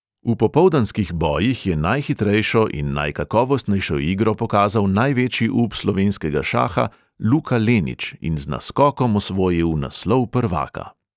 V popoldanskih bojih je najhitrejšo in najkakovostnejšo igro pokazal največji up slovenskega šaha luka lenič in z naskokom osvojil naslov prvaka.